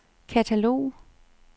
katalog